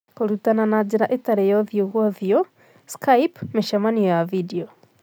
Kũrutana na njĩra ĩtarĩ ya ũthiũ kwa ũthiũ- Skype, mĩcemanio ya video.